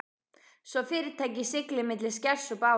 svo fyrirtækið sigli milli skers og báru.